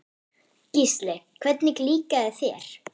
Gísli: Hvernig líkaði þér?